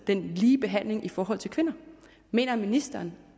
en lige behandling i forhold til kvinder mener ministeren